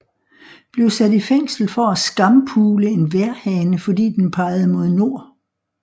Blev sat i fængsel for at skampule en vejrhane fordi den pegede mod nord